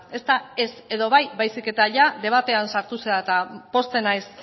ez da ez edo bai baizik eta ia debatean sartu zara eta pozten naiz